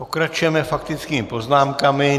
Pokračujeme faktickými poznámkami.